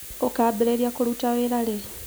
Ũkambĩrĩria kũruta wĩra rĩ?